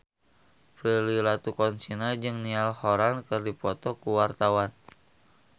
Prilly Latuconsina jeung Niall Horran keur dipoto ku wartawan